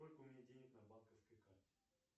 сколько у меня денег на банковской карте